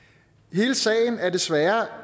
hele sagen er desværre